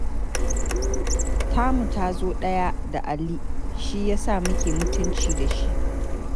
Tamu ta zo ɗaya da Ali shi ya sa muke mutunci da shi.